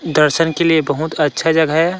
दर्शन के लिए बहुत अच्छा जगह है।